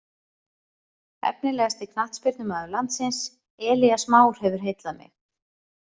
Efnilegasti knattspyrnumaður landsins: Elías Már hefur heillað mig.